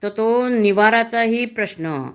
तर तो निवाराचाही प्रश्न